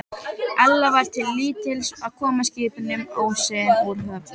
Ella var til lítils að koma skipunum óséðum úr höfn.